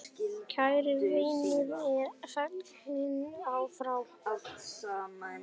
Kær vinur er fallin frá.